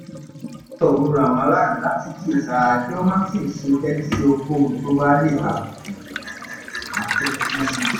rọ ràwọn aráàlú láti kíyèsára kí wọ́n má sì ṣe tẹ́tí sí ohunkóhun tó lè tàbùkù